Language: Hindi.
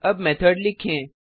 अब मेथड लिखें